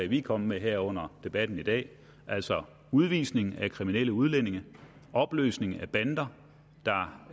vi er kommet med her under debatten i dag altså udvisning af kriminelle udlændinge opløsning af bander der